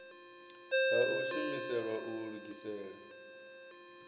ha u shumiselwa u lugisela